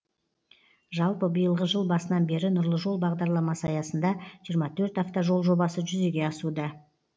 жалпы биылғы жыл басынан бері нұрлы жол бағдарламасы аясында жиырма төрт автожол жобасы жүзеге асуда